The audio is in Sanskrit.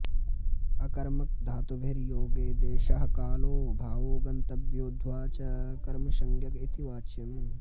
अकर्मकधातुभिर्योगे देशः कालो भावो गन्तव्योऽध्बा च कर्मसञ्ज्ञक इति वाच्यम्